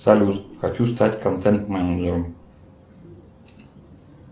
салют хочу стать контент менеджером